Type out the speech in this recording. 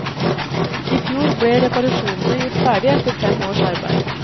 I fjor ble reparasjonene gjort ferdig etter fem års arbeid.